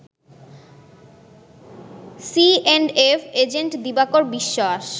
C and F agent Dibakar Biswas